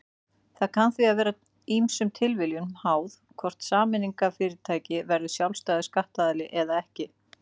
Það kann því að vera ýmsum tilviljunum háð hvort sameignarfyrirtæki verður sjálfstæður skattaðili eða ekki.